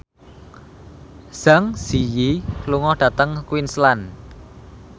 Zang Zi Yi lunga dhateng Queensland